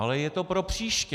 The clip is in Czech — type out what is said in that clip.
Ale je to pro příště.